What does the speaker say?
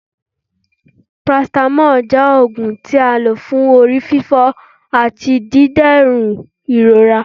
paracetamol jẹ òógun tí a ń lọ fún orí fífọ́ atí dìdèrún irora